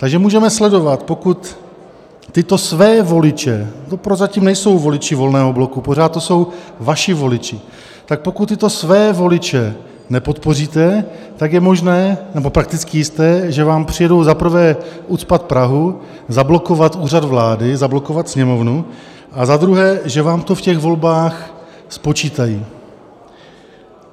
Takže můžeme sledovat, pokud tyto své voliče - to prozatím nejsou voliči Volného bloku, pořád to jsou vaši voliči - tak pokud tyto své voliče nepodpoříte, tak je možné nebo prakticky jisté, že vám přijedou za prvé ucpat Prahu, zablokovat Úřad vlády, zablokovat Sněmovnu, a za druhé, že vám to v těch volbách spočítají.